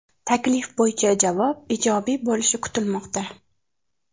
Taklif bo‘yicha javob ijobiy bo‘lishi kutilmoqda.